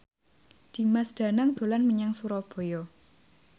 Dimas Danang dolan menyang Surabaya